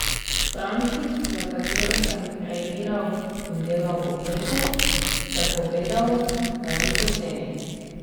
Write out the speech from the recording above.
Stranki, za katero sem kreiral in delal obleko, sem povedal, da ni poceni.